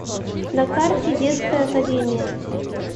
на карте детская академия